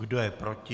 Kdo je proti?